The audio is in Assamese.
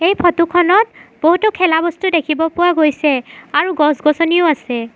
এই ফটো খনত বহুতো খেলা বস্তু দেখিব পোৱা গৈছে আৰু গছ-গছনিও আছে।